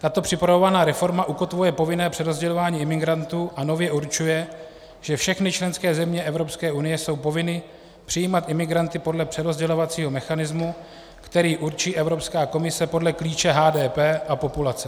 Tato připravovaná reforma ukotvuje povinné přerozdělování imigrantů a nově určuje, že všechny členské země Evropské unie jsou povinny přijímat imigranty podle přerozdělovacího mechanismu, který určí Evropská komise podle klíče HDP a populace.